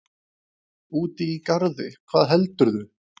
Úti í garði, hvað heldurðu!